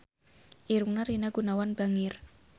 Irungna Rina Gunawan bangir